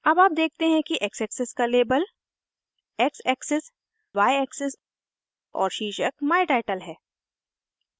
अब आप देखते हैं कि x एक्सिस का label x axis y axis और शीर्षक my title है